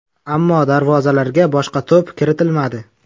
Ammo darvozalarga boshqa to‘p kiritilmadi.